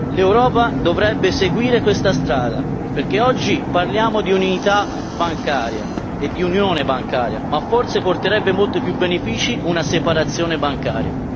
L'Europa dovrebbe seguire questa strada perché oggi parliamo di unità bancaria e di unione bancaria, ma forse porterebbe molti più benefici una separazione bancaria.